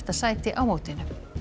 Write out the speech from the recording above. sæti á mótinu